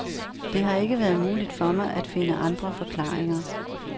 Det har ikke været muligt for mig at finde andre forklaringer.